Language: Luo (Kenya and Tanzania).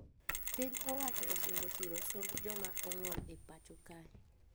Piny owacho osingo siro somb joma ong`ol e pacho kae